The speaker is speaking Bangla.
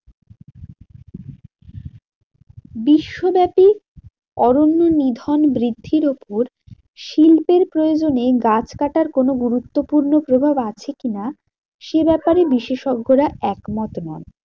বিশ্বব্যাপী অরণ্য নিধন বৃদ্ধির উপর শিল্পের প্রয়োজনেই গাছ কাটার কোনো গুরুত্বপূর্ণ প্রভাব আছে কি না? সে ব্যাপারে বিশেষজ্ঞরা এক মত নন।